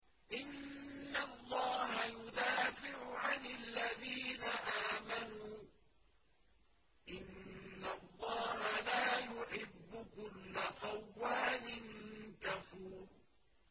۞ إِنَّ اللَّهَ يُدَافِعُ عَنِ الَّذِينَ آمَنُوا ۗ إِنَّ اللَّهَ لَا يُحِبُّ كُلَّ خَوَّانٍ كَفُورٍ